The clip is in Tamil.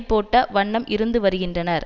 போட்ட வண்ணம் இருந்து வருகின்றனர்